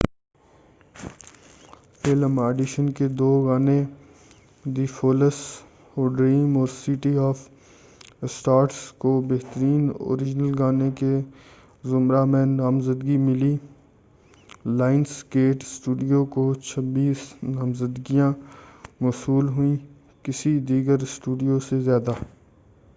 Film 'Audition' کے دو گانے دی فولسٖ ہو ڈریم اور سٹی آف اسٹارس کو بہترین اوریجنل گانے کے زمرہ میں نامزدگی ملی۔ لائنس گیٹ اسٹوڈیو کو 26 نامزدگیاں موصول ہوئیں- کسی دیگر اسٹوڈیو سے زیادہ